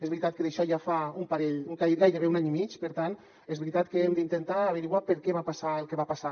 és veritat que d’això ja fa un parell gairebé un any i mig per tant és veritat que hem d’intentar esbrinar per què va passar el que va passar